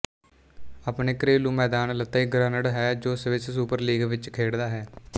ਆਪਣੇ ਘਰੇਲੂ ਮੈਦਾਨ ਲੇਤੱਇਗ੍ਰੁਨਡ ਹੈ ਜੋ ਸਵਿਸ ਸੁਪਰ ਲੀਗ ਵਿੱਚ ਖੇਡਦਾ ਹੈ